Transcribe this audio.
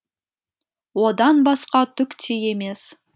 одан басқа түк те емес